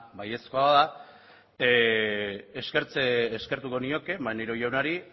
baiezkoa bada eskertuko nioke maneiro jaunari